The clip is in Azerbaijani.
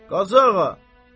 Qazı ağa.